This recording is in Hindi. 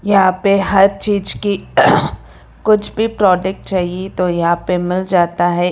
यहां पे हर चीज की कुछ भी प्रोडक्ट चाहिए तो यहां पे मिल जाता है।